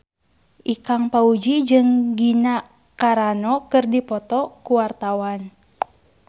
Ikang Fawzi jeung Gina Carano keur dipoto ku wartawan